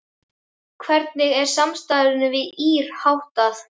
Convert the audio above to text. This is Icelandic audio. Hvernig er samstarfinu við ÍR háttað?